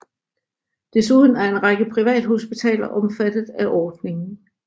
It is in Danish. Desuden er en række privathospitaler omfattet af ordningen